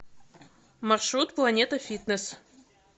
маршрут планета фитнес